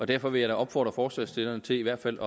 derfor vil jeg da opfordre forslagsstillerne til i hvert fald